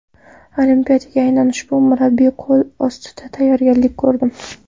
Olimpiadaga aynan ushbu murabbiy qo‘l ostida tayyorgarlik ko‘rdim.